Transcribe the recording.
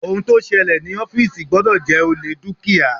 Ohun tó ṣẹlẹ̀ ní ọ́fìsì gbọ́dọ̀ jẹ́ olè dúkìá.